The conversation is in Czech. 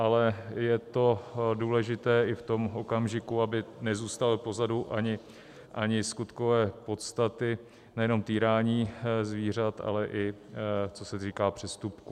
Ale je to důležité i v tom okamžiku, aby nezůstaly pozadu ani skutkové podstaty nejenom týrání zvířat, ale i co se týká přestupků.